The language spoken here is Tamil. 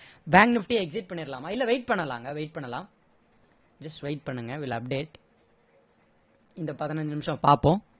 bank nifty exit பண்ணிறலாமா இல்லை wait பண்ணலாங்க wait பண்ணலாம் just wait பண்ணுங்க will update இந்த பதினைஞ்சு நிமிஷம் பார்ப்போம்